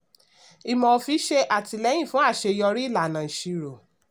ìmọ̀ òfin ṣe àtìlẹ́yìn fún aṣeyọrí ìlànà ìṣirò.